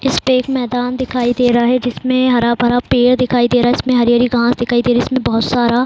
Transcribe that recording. इसपे एक मैदान दिखाई दे रहा है जिसमें हरा-भरा पेड़ दिखाई दे रहा है इसमें हरी-हरी घास दिखाई दे रही है इसमें बहुत सारा --